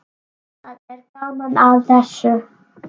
Það er gaman að þessu.